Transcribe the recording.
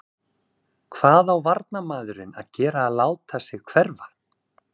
Hvað á varnarmaðurinn að gera láta sig hverfa?